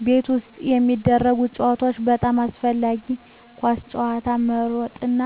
ከቤት ውጭ የሚደረጉ ጨዋታዎች (በጣም አስፈላጊ) ኳስ መጫወት መሮጥና